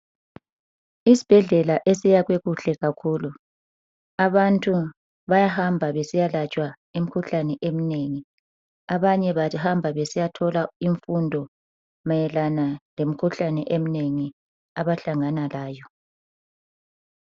Isibhedlela esakhiwe kuhle kakhulu. Abantu bayahamba besiya yelatshwa imikhuhlane eminengi, abanye bahamba besiyathola imfundo mayelana ngemikhuhlane eminengi abahlangana layo.